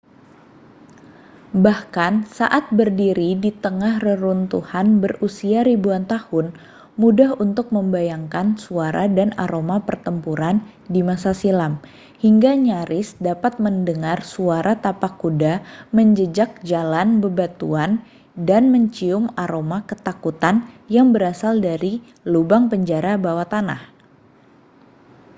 bahkan saat berdiri di tengah reruntuhan berusia ribuan tahun mudah untuk membayangkan suara dan aroma pertempuran di masa silam hingga nyaris dapat mendengar suara tapak kuda menjejak jalan bebatuan dan mencium aroma ketakutan yang berasal dari lubang penjara bawah tanah